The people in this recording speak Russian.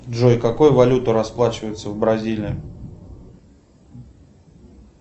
джой какой валютой расплачиваются в бразилии